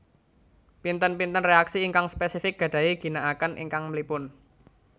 Pinten pinten reaksi ingkang spesifik gadahi ginaaken ingkang mlipun